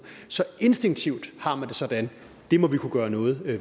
så instinktivt har man det sådan at det må vi kunne gøre noget ved